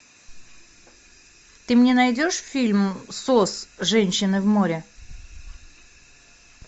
ты мне найдешь фильм сос женщины в море